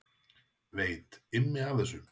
Veit Immi af þessu?